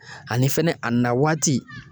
Ani fɛnɛ a na waati